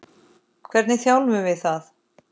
Hvernig þjálfum við það?